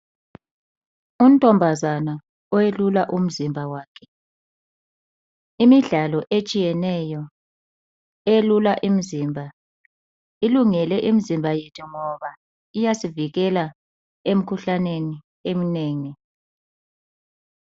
Untombazana owelula umzimba wakhe .Imidlalo etshiyeneyo elula imizimba ilungele imizimba yethu ngoba iyasivikela emikhuhlaneni eminengi.